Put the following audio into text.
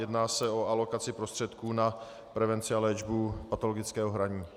Jedná se o alokaci prostředků na prevenci a léčbu patologického hraní.